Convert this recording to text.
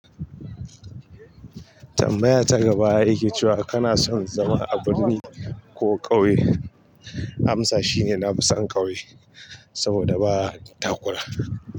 Tambaya ta gaba yake cewa kana son zama a birni ko ƙauye? Amsa shine nafi san ƙauye, saboda baa takura.